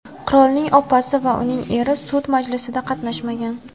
Qirolning opasi va uning eri sud majlisida qatnashmagan.